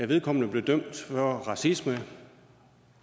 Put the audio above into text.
vedkommende blev dømt for racisme